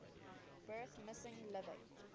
birth missing living